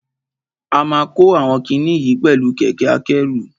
A ma kó àwọn kiní yìí oẹ̀lú kẹ̀kẹ́ akẹ́rù.